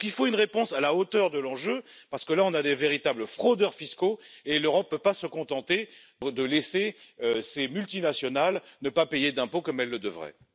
Il faut donc une réponse à la hauteur de l'enjeu parce que, là, nous avons de véritables fraudeurs fiscaux, et l'Europe ne peut pas se contenter de laisser ces multinationales ne pas payer d'impôts comme elles le devraient.